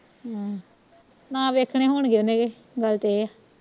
ਹਮ ਨਾ ਵੇਖਣੇ ਹੋਣਗੇ ਉਹਨੇ ਕਿ ਗੱਲ ਤੇ ਇਹ ਆ